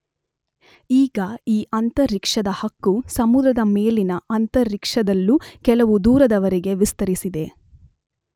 ಈಗ ಈ ಅಂತರಿಕ್ಷದ ಹಕ್ಕು ಸಮುದ್ರದ ಮೇಲಿನ ಅಂತರಿಕ್ಷದಲ್ಲೂ ಕೆಲವು ದೂರದವರೆಗೆ ವಿಸ್ತರಿಸಿದೆ.